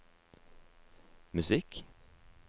musikk